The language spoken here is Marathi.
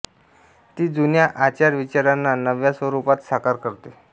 ती जुन्या आचार विचारांना नव्या स्वरूपात साकार करते